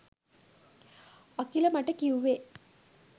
අකිල මට කිව්වේ